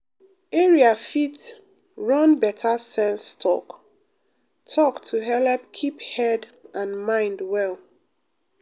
area fit run better sense talk-talk to helep keep head and mind well.